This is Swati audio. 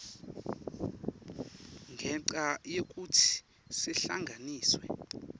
ngenca yekutsi sihlanganiswe